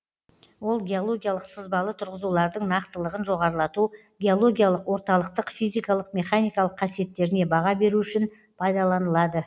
ол геологиялық сызбалы тұрғызулардың нақтылығын жоғарылату геологиялық орталықтық физикалық механикалық қасиеттеріне баға беру үшін пайдаланылады